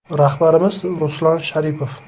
Rahbarimiz Ruslan Sharipov.